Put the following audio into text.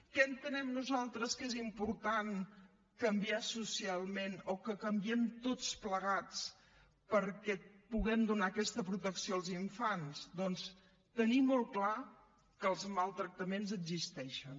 què entenem nosaltres que és important canviar socialment o que canviem tots plegats perquè puguem donar aquesta protecció als infants doncs tenir molt clar que els maltractaments existeixen